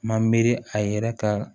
Ma miiri a yɛrɛ ka